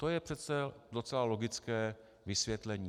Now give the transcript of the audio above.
To je přece docela logické vysvětlení.